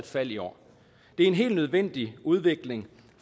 fald i år det er en helt nødvendig udvikling